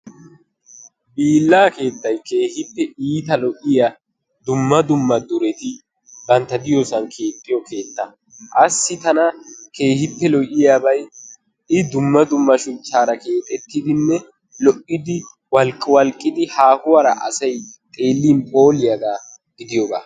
Hiillaa keettay keehippe iita lo'iya dumma dumma dureti bantta diyosan keexxiyo keetta. Qassi tana keehippe lo'iyabay I dumma dumma shuchchaara keexettidinne, lo'idi, walqqiwalqqidi haahuwara asay xeellin phooliyagaa gidiyogaa.